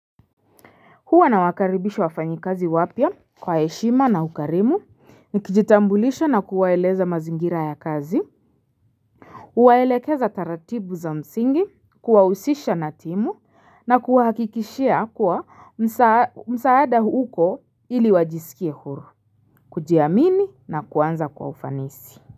Huwa na wakaribisha wafanyi kazi wapya kwa heshima na ukarimu nikijitambulisha na kuwaeleza mazingira ya kazi Uwaelekeza taratibu za msingi kuwahusisha na timu na kuwa hakikishia kuwa msaada uko ili wajisikie huru kujiamini na kuanza kwa ufanisi.